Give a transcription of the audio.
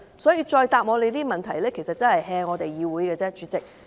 所以，局長如此回答質詢只是敷衍議會而已，主席。